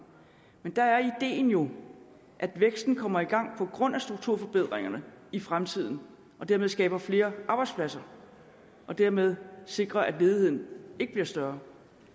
men der er ideen jo at væksten kommer i gang på grund af strukturforbedringerne i fremtiden og dermed skaber flere arbejdspladser og dermed sikrer at ledigheden ikke bliver større